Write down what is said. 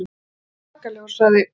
Hann var alveg svakalegur, sagði